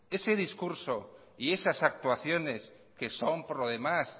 ese discurso y esas actuaciones que son por lo demás